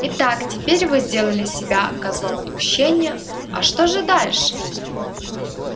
итак теперь вы сделали себя козлом отпущения а что же дальше